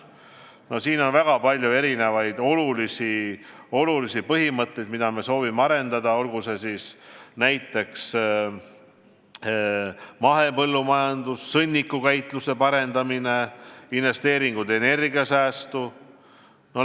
No siin on väga palju erinevaid olulisi mõtteid, mida me soovime arendada, olgu see näiteks mahepõllumajandus, sõnnikukäitluse parendamine, investeeringud energiasäästu.